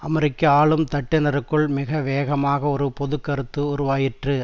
அமெரிக்க ஆளும் தட்டினருக்குள் மிக வேகமாக ஒரு பொதுக்கருத்து உருவாயிற்று